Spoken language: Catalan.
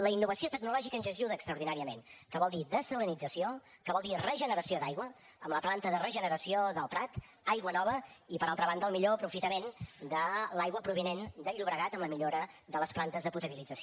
la innovació tecnològica ens ajuda extraordinàriament que vol dir dessalinització que vol dir regeneració d’aigua amb la planta de regeneració del prat aigua nova i per altra banda el millor aprofitament de l’aigua provinent del llobregat amb la millora de les plantes de potabilització